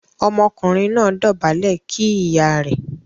Ọmọkùnrin náà dobale kí ìyá rẹ̀.